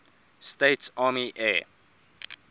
states army air